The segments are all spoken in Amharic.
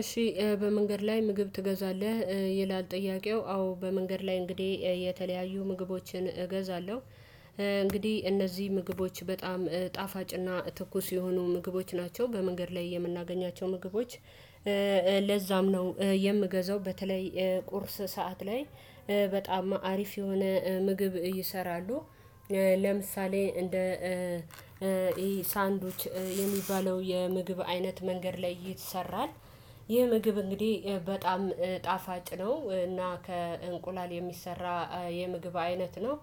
እሺ በመንገድ ላይ ምግብ ትገዛለህ? ይላል ጥያቄው አዎ በመንገድ ላይ እንግዲህ የተለያዩ ምግቦችን እገዛለሁ። እንግዲህ እነዚህ ምግቦች በጣም ጣፋጭና ትኩስ የሆኑ ምግቦች ናቸው በመንገድ ላይ የምናገኛቸው ምግቦች። ለዛም ነው የምገዛው በተለይ ቁርስ ሰዓት ላይ በጣም አሪፍ የሆነ ምግብ ይሰራሉ። ለምሳሌ እንደ ሳንዱች የሚባለው የምግብ አይነት መንገድ ላይ ይሰራል። ይህ ምግብ እንግዲህ በጣም ጣፋጭ ነው። እና ከእንቁላል የሚሰራ የምግብ አይነት ነው።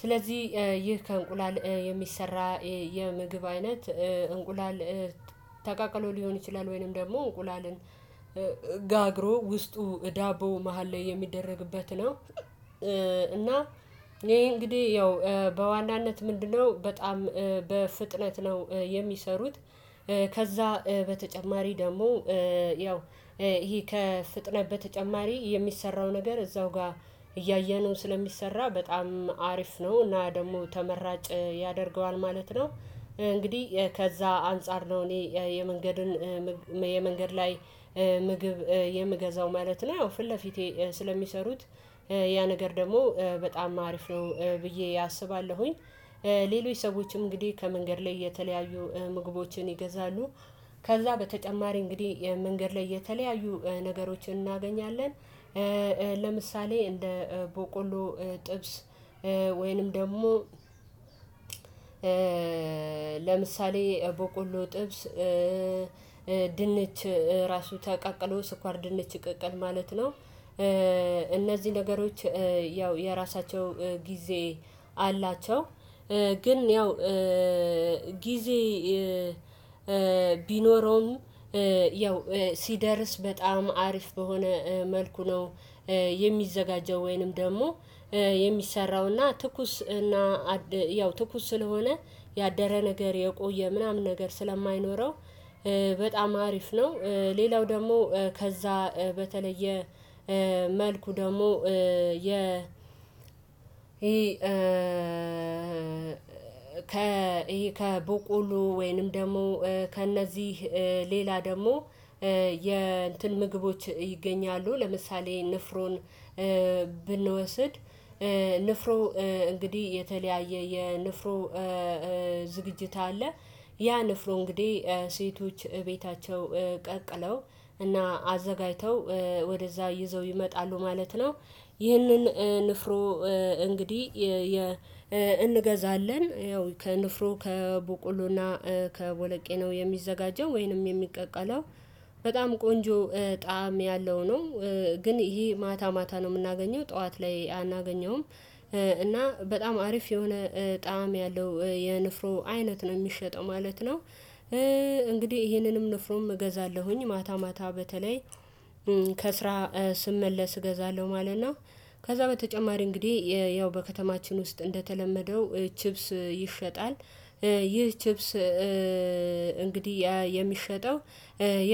ስለዚህ ይህ ከእንቁላል የሚሰራ የምግብ አይነት እንቁላል ተቀቅሎ ሊሆን ይችላል ወይንም ደግሞ እንቁላልን ጋግሮ ውስጡ ዳቦው መሃል ላይ የሚደረግበት ነው። እና ይሄ እንግዲህ ያው በዋናነት ምንድነው በጣም በፍጥነት ነው የሚሰሩት። ከዛ በተጨማሪ ደግሞ ያው ይሄ ከፍጥነት በተጨማሪ የሚሰራው ነገር እዛው ጋር እያየነው ስለሚሰራ በጣም አሪፍ ነው እና ደግሞ ተመራጭ ያደርገዋል ማለት ነው። እንግዲህ ከዛ አንፃር ነው እኔ የመንገድን የመንገድ ላይ ምግብ የምገዛው ማለት ነው። ያው ፊት ለፊቴ ስለሚሰሩት ያ ነገር ደግሞ በጣም አሪፍ ነው ብዬ አስባለሁኝ። ሌሎች ሰዎችም እንግዲህ ከመንገድ ላይ የተለያዩ ምግቦችን ይገዛሉ። ከዛ በተጨማሪ እንግዲህ መንገድ ላይ የተለያዩ ነገሮችን እናገኛለን። ለምሳሌ እንደ ቦቆሎ ጥብስ ወይንም ደግሞ ለምሳሌ በቆሎ ጥብስ ድንች ራሱ ተቀቅሎ ስኳር ድንች ቅቅል ማለት ነው። እነዚህ ነገሮች ያው የራሳቸው ጊዜ አላቸው። ግን ያው ጊዜ ቢኖረውም ያው ሲደርስ በጣም አሪፍ በሆነ መልኩ ነው። የሚዘጋጀው ወይንም ደግሞ የሚሰራው እና ትኩስ እና ያው ትኩስ ስለሆነ ያደረ ነገር የቆየ ምናምን ነገር ስለማይኖረው በጣም አሪፍ ነው። ሌላው ደግሞ ከዛ በተለየ መልኩ ደግሞ የ ከ ከቦቆሉጅሎ ወይንም ደግሞ ከእነዚህ ሌላ ደግሞ የእንትን ምግቦች ይገኛሉ። ለምሳሌ ንፍሮን ብንወስድ ንፍሮ እንግዲህ የተለያየ የንፍሮ ዝግጅት አለ። ያ ንፍሮ እንግዲህ ሴቶች ቤታቸው ቀቅለው እና አዘጋጅተው ወደዛ ይዘው ይመጣሉ ማለት ነው። ይህንን ንፍሮ እንግዲህ እንገዛለን ያው ከንፍሮ ከበቆሎና ከቦለቄ ነው የሚዘጋጀው ወይንም የሚቀቀለው በጣም ቆንጆ ጣዕም ያለው ነው። ግን ይሄ ማታ ማታ ነው የምናገኘው ጠዋት ላይ አናገኘውም እና በጣም አሪፍ የሆነ ጣዕም ያለው የንፍሮ አይነት ነው የሚሸጠው ማለት ነው። እንግዲህ ይሄንንም ንፍሮም እገዛለሁኝ ማታ ማታ በተለይ ከስራ ስመለስ እገዛለሁ ማለት ነው። ከዛ በተጨማሪ እንግዲህ ያው በከተማችን ውስጥ እንደተለመደው ቺፕስ ይሸጣል። ይህ ቺፕስ እንግዲህ የሚሸጠው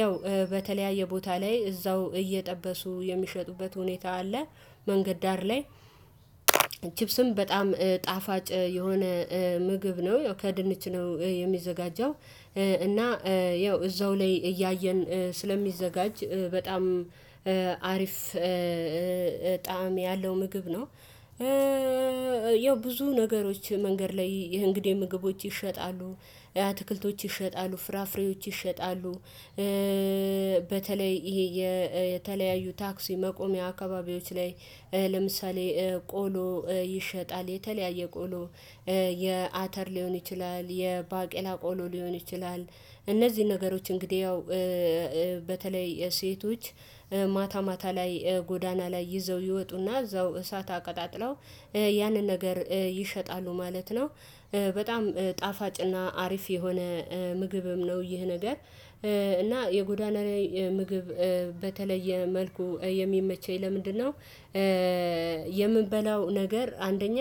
ያው በተለያየ ቦታ ላይ እዛው እየጠበሱ የሚሸጡበት ሁኔታ አለ። መንገድ ዳር ላይ ቺፕስም በጣም ጣፋጭ የሆነ ምግብ ነው ከድንች ነው የሚዘጋጀው። እና ያው እዛው ላይ እያየን ስለሚዘጋጅ በጣም አሪፍ ጣዕም ያለው ምግብ ነው። ያው ብዙ ነገሮች መንገድ ላይ እንግዲህ ምግቦች ይሸጣሉ አትክልቶች ይሸጣሉ ፍራፍሬዎች ይሸጣሉ። በተለይ ይሄ የተለያዩ ታክሲ መቆሚያ አካባቢዎች ላይ ለምሳሌ ቆሎ ይሸጣል የተለያየ ቆሎ የአተር ሊሆን ይችላል የባቄላ ቆሎ ሊሆን ይችላል። እነዚህ ነገሮች እንግዲህ ያው በተለይ ሴቶች ማታ ማታ ላይ ጎዳና ላይ ይዘው ይወጡና እዛው እሳት አቀጣጥለው ያንን ነገር ይሸጣሉ ማለት ነው። በጣም ጣፋጭና አሪፍ የሆነ ምግብም ነው ይህ ነገር። እና የጎዳና ላይ ምግብ በተለየ መልኩ የሚመቸኝ ለምንድነው? የምንበላው ነገር አንደኛ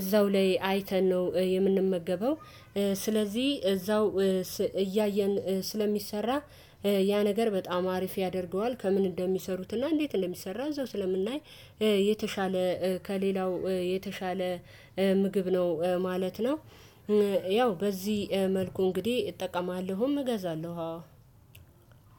እዛው ላይ አይተን ነው የምንመገበው። ስለዚህ እዛው እያየን ስለሚሰራ ያ ነገር በጣም አሪፍ ያደርገዋል ከምን እንደሚሰሩትና እንዴት እንደሚሰራ እዛው ስለምናይ የተሻለ ከሌላው የተሻለ ምግብ ነው ማለት ነው። ያው በዚህ መልኩ እንግዲህ እጠቀማለሁም እገዛለሁ